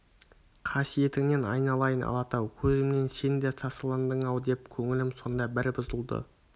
қасиетіңнен айналайын алатау көзімнен сен де тасаландың-ау деп көңілім сонда бір бұзылды